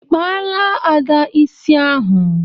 ịkpala Ada isi ahụ